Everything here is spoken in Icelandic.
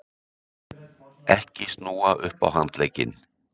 EKKI SNÚA UPP Á HANDLEGGINN!